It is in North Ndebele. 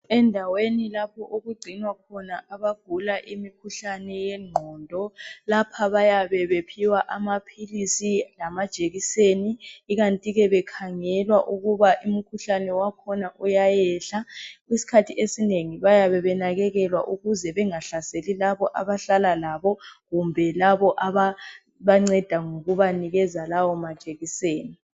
Endaweni lapho okugcinwa khona abagula imikhuhlane yengqondo. Lapha bayabe bephiwa amaphilisi lamajekiseni. Ikantike bekhangelwa ukuba umkhuhlane wakhona uyayehla. Isikhathi esinengi bayabe benakekelwa ukuthi bengahlaseli labo abahlala labo. Kumbe labo ababanceda ngokubanikeza lawo majekiseni.